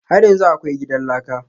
Har yanzu akwai gidan laka?